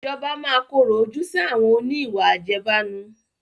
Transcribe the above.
Ìjọba máa korò ojú sì àwọn òní ìwà àjẹbánu